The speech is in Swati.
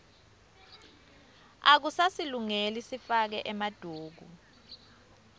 akusasilungeli sifake emaduku